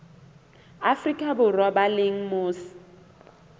afrika borwa ba leng mose